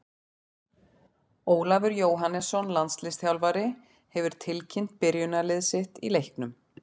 Ólafur Jóhannesson, landsliðsþjálfari, hefur tilkynnt byrjunarlið sitt í leiknum.